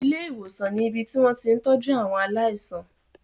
Ilé-ìwòsàn ni ibi tí wọ́n ti ń tọ́jú àwọn aláìsàn.